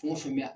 Fɛn o fɛn bɛ yan